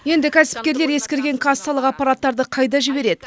енді кәсіпкерлер ескірген кассалық аппараттарды қайда жібереді